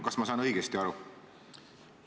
Kas ma saan õigesti aru?